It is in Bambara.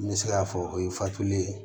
N bɛ se k'a fɔ o ye fatuli ye